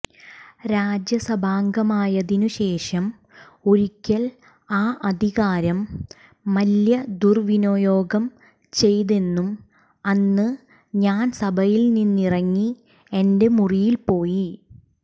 രാജ്യസഭാംഗമായതിനുശേഷം ഒരിക്കൽ ആ അധികാരം മല്യ ദുർവിനിയോഗം ചെയ്തെന്നും അന്ന് ഞാൻ സഭയിൽനിന്നിറങ്ങി എന്റെ മുറിയിൽപ്പോയി